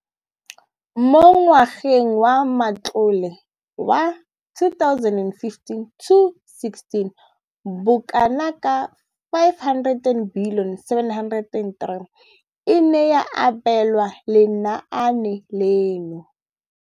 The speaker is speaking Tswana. Mo ngwageng wa matlole wa 2015,16, bokanaka R5 703 bilione e ne ya abelwa lenaane leno.